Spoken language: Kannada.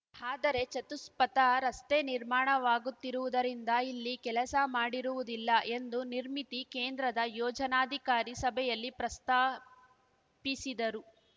ಆದರೆ ಚತುಷ್ಪಥ ರಸ್ತೆ ನಿರ್ಮಾಣವಾಗುತ್ತಿರುವುದರಿಂದ ಇಲ್ಲಿ ಕೆಲಸ ಮಾಡಿರುವುದಿಲ್ಲ ಎಂದು ನಿರ್ಮಿತಿ ಕೇಂದ್ರದ ಯೋಜನಾಧಿಕಾರಿ ಸಭೆಯಲ್ಲಿ ಪ್ರಸ್ತಾಪಿಸಿದರು